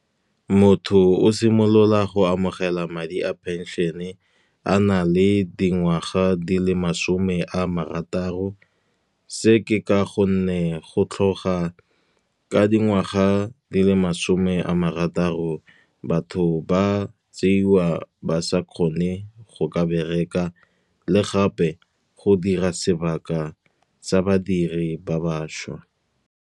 Motho o simolola go amogela madi a pension-e a na le dingwaga di le masome a marataro. Se ke ka gonne go tlhoga ka dingwaga di le masome a marataro, batho ba tseiwa ba sa kgone go ka bereka, le gape go dira sebaka sa badiri ba bašwa.